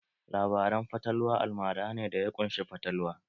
Labaran fatalwa almara ne da ya ƙunshi fatalwa